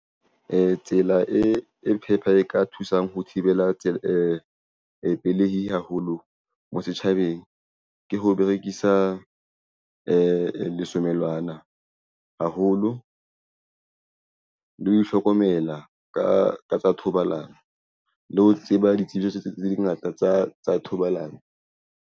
Tsela e phepha e ka thusang ho thibela tsela pelehi haholo mo setjhabeng ke ho berekisa lesomelwana haholo le ho ihlokomela ka tsa thobalano le ho tseba ditsebiso tse di ngata tsa thobalano.